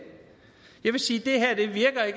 jeg vil sige